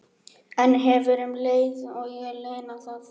Sæmundur prestur er ákaflega lærður maður og forvitri.